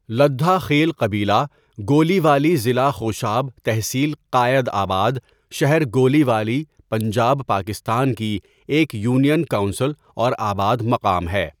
لدھا خیل قبیلہ گولیوالی ضلع خوشاب تحصيل قاٸدآباد شہر گولیوالی پنجاب پاکستان کی ایک یونین کونسل اور آباد مقام ہے.